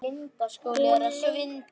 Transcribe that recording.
Hún leit til hans.